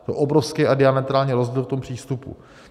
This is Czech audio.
To je obrovský a diametrální rozdíl v tom přístupu.